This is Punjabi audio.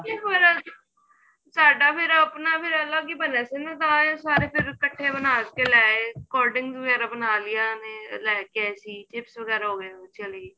ਕੇ ਹੋਰ ਸਾਡਾ ਫੇਰ ਆਪਣਾ ਫੇਰ ਅਲੱਗ ਹੀ ਬਣੀਆਂ ਸੀ ਨਾ ਤਾਂ ਇਹ ਸਾਰੇ ਫੇਰ ਇੱਕਠੇ ਬਣ ਕੇ ਲੈ ਆਏ cold drinks ਵਗੈਰਾ ਬਣਾ ਲਈਆਂ ਨੇ ਲੈ ਕੇ ਆਏ ਸੀ chips ਵਗੈਰਾ ਹੋ ਗਏ ਚਲੀ